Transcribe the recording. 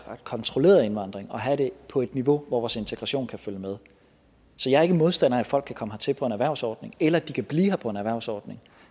kontrolleret indvandring og have det på et niveau hvor vores integration kan følge med så jeg er ikke modstander af at folk kan komme hertil på en erhvervsordning eller at de kan blive vi her på en erhvervsordning